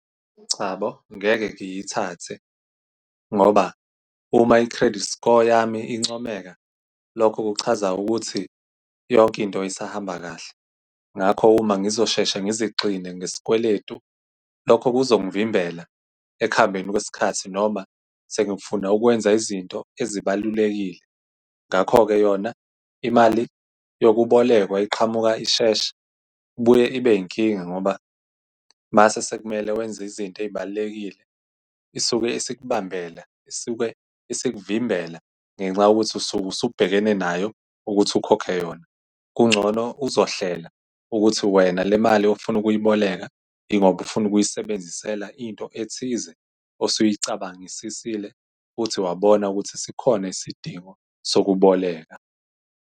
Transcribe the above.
Cha bo, ngeke ngiyithathe ngoba uma i-credit score yami incomeka, lokho kuchaza ukuthi yonke into isahamba kahle, ngakho uma ngizosheshe ngizixine ngesikweletu, lokho kuzongivimbela ekuhambeni kwesikhathi. Noma sengifuna ukwenza izinto ezibalulekile, ngakho-ke yona imali yokubolekwa iqhamuka ishesha, ibuye ibe inkinga, ngoba mase sekumele wenza izinto ey'balulekile, isuke isikubambela, isuke isikuvimbela ngenxa yokuthi usuke usubhekene nayo ukuthi ukhokhe yona. Kungcono uzohlela ukuthi wena le mali ofuna ukuyiboleka, yingoba ufuna ukuyisebenzisela into ethize, osuyicabangisisile, uthi wabona ukuthi sikhona isidingo sokuboleka.